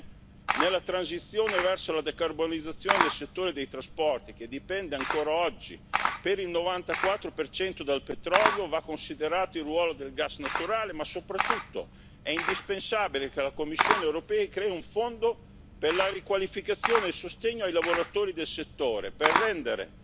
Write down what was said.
Infine, nella transizione verso la decarbonizzazione del settore dei trasporti che dipende ancora oggi per il 94 dal petrolio, va considerato il ruolo del gas naturale, ma soprattutto è indispensabile che la Commissione europea crei un fondo per la riqualificazione e il sostegno ai lavoratori del settore, per rendere